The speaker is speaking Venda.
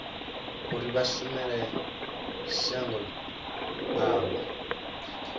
uri vha shumele shango avho